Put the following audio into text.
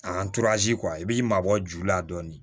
A i b'i mabɔ ju la dɔɔnin